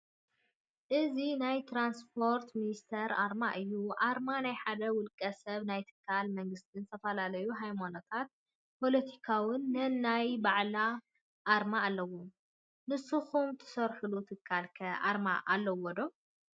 እዚናይ ትራንስፖርት ሚንስትር ኣርማ እዩ:: ኣርማ ናይ ሓደ ውልቀ ሰብ ናይ ትካላት መንግስትን ዝተፈላላዩ ሃይማኖታትን ፖቲካታትን ነናይ ባዕላን ኣርማ ኣለው:: ንስኩም ትሰርሕሉ ትካል ከ ኣረማ ኣለዎ ዶ?